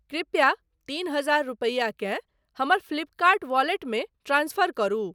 कृपया तीन हजार रूपैया केँ हमर फ्लिपकर्ट वॉलेटमे ट्रांसफर करू।